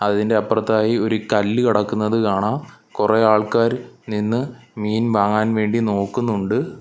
അതിന്റെ അപ്പർതായി ഒരു കല്ല് കിടക്കുന്നത് കാണാം കൊറേ ആൾക്കാർ നിന്ന് മീൻ വാങ്ങാൻ വേണ്ടി നോക്കുന്നുണ്ട്.